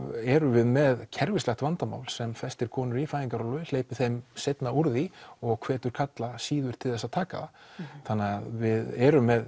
erum við með kerfislegt vandamál sem festir konur í fæðingarorlofi hleypir þeim seinna úr því og hvetur karla síður til þess að taka það þannig að við erum með